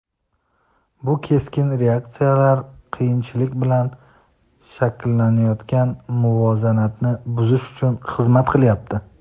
Bu keskin reaksiyalar qiyinchilik bilan shakllanayotgan muvozanatni buzish uchun xizmat qilyapti.